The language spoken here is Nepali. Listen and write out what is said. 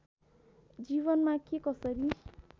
जीवनमा के कसरी